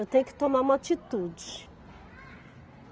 Eu tenho que tomar uma atitude.